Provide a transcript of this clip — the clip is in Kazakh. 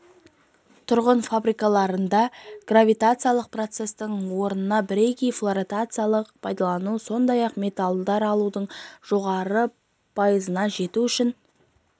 тұрған фабрикаларда гравитациялық процестің орнына бірегей флотациялықты пайдалану сондай-ақ металдар алудың жоғары пайызына жету үшін